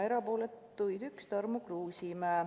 Erapooletuid oli üks: Tarmo Kruusimäe.